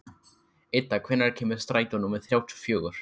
Idda, hvenær kemur strætó númer þrjátíu og fjögur?